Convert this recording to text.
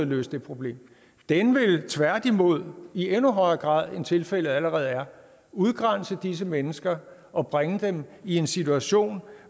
løse det problem den vil tværtimod i endnu højere grad end tilfældet allerede er udgrænse disse mennesker og bringe dem i en situation